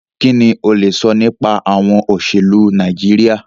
Kínní o lè sọ nípa àwọn olóṣèlú Nàìjíríà?